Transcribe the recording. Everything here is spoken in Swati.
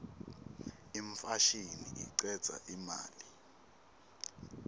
imfashini icedza imali